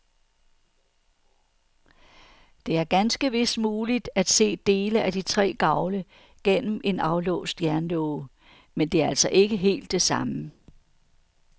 Det er ganske vist muligt at se dele af de tre gavle gennem en aflåst jernlåge, men det er altså ikke helt det samme.